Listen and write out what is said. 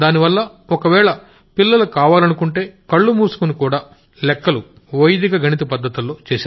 దానివల్ల ఒకవేళ పిల్లలు కావాలనుకుంటే కళ్లుమూసుకుని కూడా కాలిక్యులేషన్ చేసేయొచ్చు వైదిక గణిత పద్ధతుల్లో